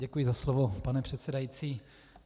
Děkuji za slovo, pane předsedající.